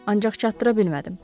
Ancaq çatdıra bilmədim.